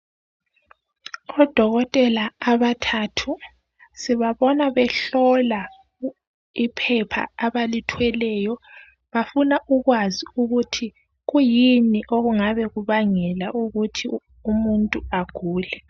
Odokotela abathathu sibabona behlola iphepha abalithweleyo bafuna ukwazi ukuthi kuyini okungabe kubangela ukuthi umuntu agule.